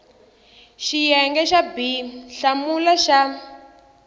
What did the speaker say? xiyenge xa b hlamula xa